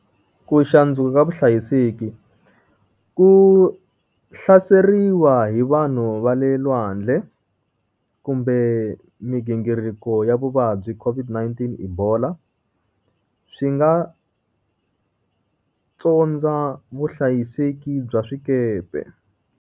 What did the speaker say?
Ku ka vuhlayiseki, ku hlaseriwa hi vanhu va le lwandle. kumbe migingiriko ya vuvabyi COVID-19, ebola. Swi nga tsondza vuhlayiseki bya swikepe.